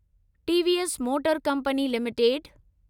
TVS motor company limited